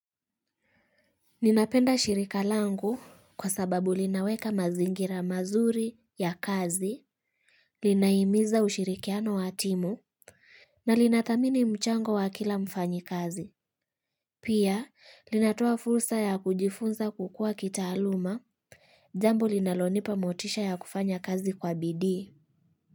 Ninapenda shirika langu kwa sababu linaweka mazingira mazuri ya kazi, linahimiza ushirikiano wa timu, na linathamini mchango wa kila mfanyikazi. Pia, linatoa fursa ya kujifunza kukua kitaaluma, jambo linalonipa motisha ya kufanya kazi kwa bidii.